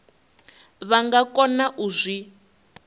vha nga kona u zwi